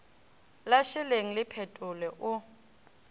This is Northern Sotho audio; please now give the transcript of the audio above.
la šeleng le phetolo o